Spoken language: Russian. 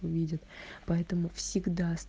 увидят поэтому всегда ст